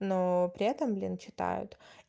но при этом блин читают